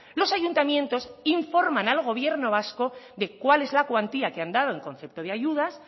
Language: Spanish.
los ayuntamientos informan al gobierno vasco de cuál es la cuantía que han dado en concepto de ayudas